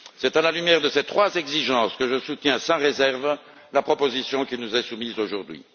C'est à la lumière de ces trois exigences que je soutiens sans réserve la proposition qui nous est soumise aujourd'hui.